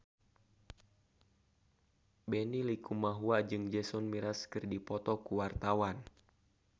Benny Likumahua jeung Jason Mraz keur dipoto ku wartawan